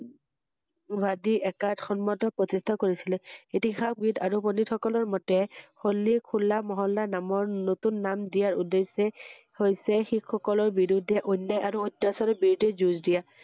গুৱাহাটী একাট সন্মত প্ৰতিস্ঠা কৰিছিলে ৷ইতিহাসবিদ আৰু পণ্ডিতসকলৰ মতে হলীক হোলা মহল্লা নামৰ নতুন নাম দিয়া উদ্দেোশ্যই হৈছে শিখসকলৰ বিৰুদ্বে হোৱা অন্যায় আৰু অত্যাচাৰৰ বিৰুদ্বে যুজঁ দিয়া ৷